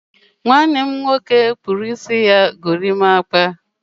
nwanne m nwoke kpụrụ isi ya gorimapa